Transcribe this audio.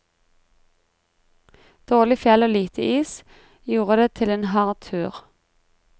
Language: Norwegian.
Dårlig fjell og lite is, gjorde det til en hard tur.